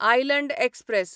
island express